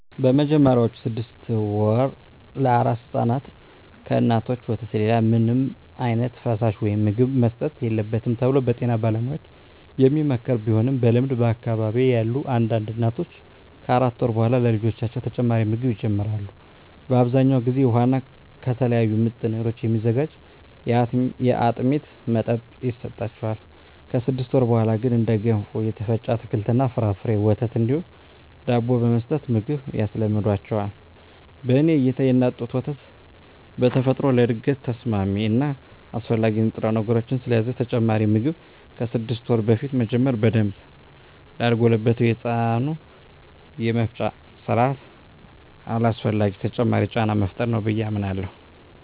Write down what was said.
በመጀመሪያዎቹ ስድስት ወራ ለአራስ ሕፃናት ከእናቶች ወተት ሌላ ምንም ዓይነት ፈሳሽ ወይም ምግብ መሰጠት የለበትም ተብሎ በጤና ባለሙያዎች የሚመከር ቢሆንም በልምድ በአካባቢየ ያሉ አንዳንድ እናቶች ከአራት ወር በኃላ ለልጆቻቸው ተጨማሪ ምግብ ይጀምራሉ። በአብዛኛው ጊዜ ውሃ እና ከተለያዩ ምጥን እህሎች የሚዘጋጅ የአጥሚት መጠጥ ይሰጣቸዋል። ከስድስት ወር በኀላ ግን እንደ ገንፎ፣ የተፈጨ አትክልት እና ፍራፍሬ፣ ወተት እንዲሁም ዳቦ በመስጠት ምግብ ያስለምዷቸዋል። በኔ እይታ የእናት ጡት ወተት በተፈጥሮ ለእድገት ተስማሚ እና አስፈላጊ ንጥረነገሮችን ስለያዘ ተጨማሪ ምግብ ከስድስት ወር በፊት መጀመር በደንብ ላልጎለበተው የህፃናቱ የመፍጫ ስርአት አላስፈላጊ ተጨማሪ ጫና መፍጠር ነው ብየ አምናለሁ።